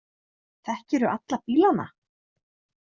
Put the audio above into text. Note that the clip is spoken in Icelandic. Þekkirðu alla bílana?